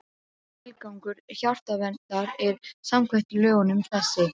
Tilgangur Hjartaverndar er samkvæmt lögunum þessi